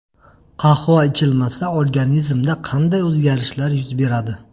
Qahva ichilmasa, organizmda qanday o‘zgarishlar yuz beradi?